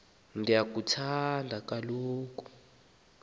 akuyi kusa kho